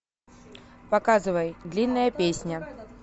показывай длинная песня